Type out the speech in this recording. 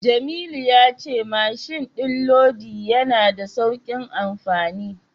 Jamilu ya ce mashin din lodi yana da saukin amfani.